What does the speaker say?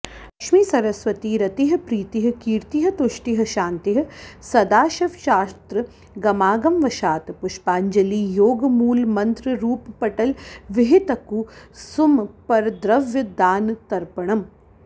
लक्ष्मी सरस्वती रतिः प्रीतिः कीर्तिः तुष्टिः शान्तिः सदाशिवश्चात्र गमागमवशात् पुष्पाञ्जलियोगमूलमन्त्ररूपपटलविहितकुसुमपरद्रव्यदानतर्पणम्